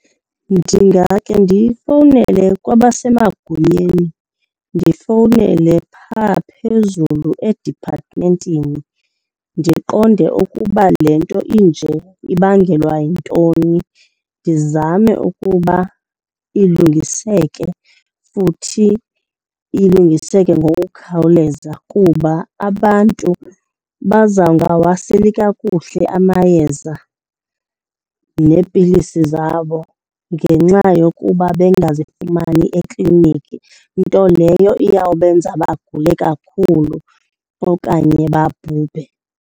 Ndingakhe ndifowunele kwabasemagunyeni, ndifowunele phaa phezulu ediphathimentini ndiqonde ukuba le nto inje ibangelwa yintoni. Ndizame ukuba ilungiseke futhi ilungiseke ngokukhawuleza kuba abantu bazawungawaseli kakuhle amayeza neepilisi zabo ngenxa yokuba bengazifumani ekliniki, nto leyo iyawubenza bagule kakhulu okanye babhubhe.